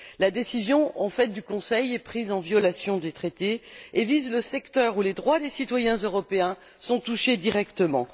En fait, la décision du Conseil est prise en violation des traités et vise le secteur où les droits des citoyens européens sont touchés directement.